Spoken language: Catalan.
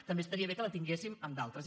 també estaria bé que la tinguéssim en d’altres